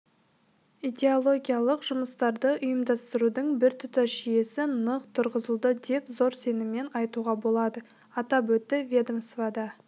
идеологиялық жұмыстарды ұйымдастырудың біртұтас жүйесі нық тұрғызылды деп зор сеніммен айтуға болады атап өтті ведомствада